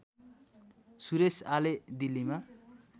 सुरेश आले दिल्लीमा